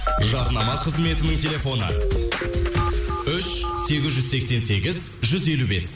жарнама қызметінің телефоны үш сегіз жүз сексен сегіз жүз елу бес